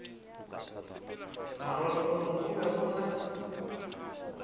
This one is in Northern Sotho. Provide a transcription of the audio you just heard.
marothong go be go na